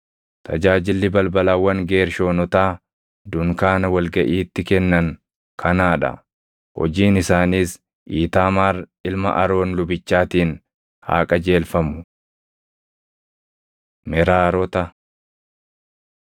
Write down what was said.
Tajaajilli balbalawwan Geershoonotaa dunkaana wal gaʼiitti kennan kanaa dha. Hojiin isaaniis Iitaamaar ilma Aroon lubichaatiin haa qajeelfamu. Meraarota